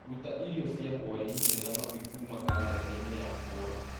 rũta irio cia hwaĩ-inĩ na mami kuuma kalendarĩ-inĩ yakwa